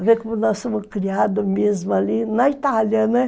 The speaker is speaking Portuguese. A ver como nós fomos criados mesmo ali na Itália, né?